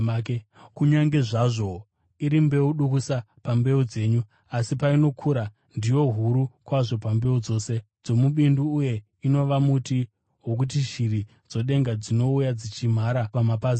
Kunyange zvazvo iri iyo mbeu dukusa pambeu dzenyu, asi painokura ndiyo huru kwazvo pambeu dzose dzomubindu uye inova muti wokuti shiri dzedenga dzinouya dzichimhara pamapazi awo.”